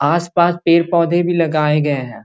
आस-पास पेड़-पौधे भी लगाए गए हैं।